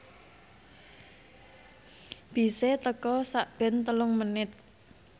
bise teka sakben telung menit